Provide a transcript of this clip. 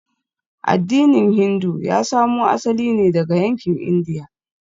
Addinin Hindu ya samo asali ne daga yankin Indiya.